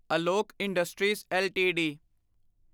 Alok industries LTD